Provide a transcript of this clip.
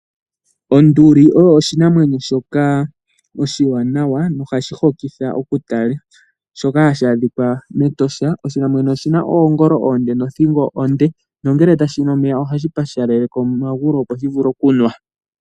Onduli oyo oshinamwenyo shoka oshiwanawa nohashi hokitha oku tala, shoka hashi adhikwa mEtosha. Oshinamwenyo oshina oongolo oonde, nothingo onde, nongele tashi nu omeya ohashi pashalaleke omagulu opo shi vule oku nwa.